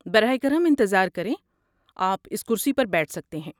براہ کرم انتظار کریں۔ آپ اس کرسی پر بیٹھ سکتے ہیں۔